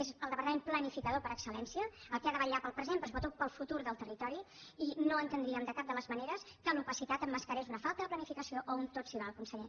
és el departament planificador per excel·lència el que ha de vetllar pel present però sobretot pel futur del territori i no entendríem de cap de les maneres que l’opacitat emmascarés una falta de planificació o un tot s’hi val conseller